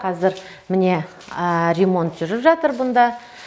қазір міне ремонт жүріп жатыр бұнда